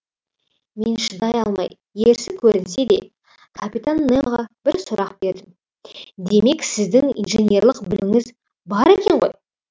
мен шыдай алмай ерсі көрінсе де капитан немоға бір сұрақ бердім демек сіздің инженерлік біліміңіз бар екен ғой